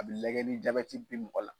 A bɛ lagɛ ni jabati bi mɔgola.